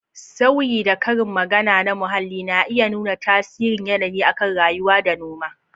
Sauyi da Karin magana na muhalli na iya nuna tasirin yanayi akan rayuwa da noma.